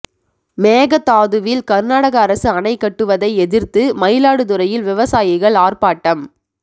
மேகதாதுவில் கர்நாடக அரசு அணை கட்டுவதை எதிர்த்து மயிலாடுதுறையில் விவசாயிகள் ஆர்ப்பாட்டம்